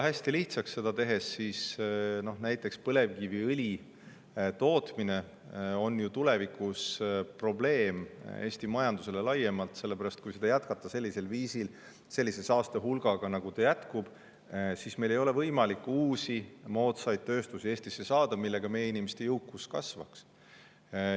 Hästi lihtsaks seda tehes, et näiteks põlevkiviõli tootmine on tulevikus probleem Eesti majandusele laiemalt selle pärast, et kui seda jätkata sellisel viisil, sellise saaste hulgaga, nagu see käib, siis meil ei ole võimalik Eestisse saada uusi, moodsaid tööstusi, tänu millele meie inimeste jõukus kasvaks.